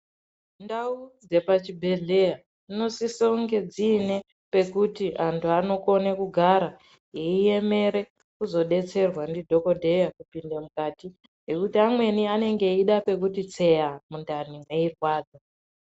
Ndau dzepachibhehleya dzinosiso kunge dziine pekuti antu anokone kugara eiemere kuzodetserwa ndidhogodheya kupinde mukati. Ngekuti amweni anenge eida pekuti tseya mundani meirwadza.